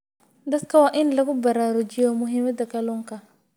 Dadka waa in lagu baraarujiyaa muhiimadda kalluunka.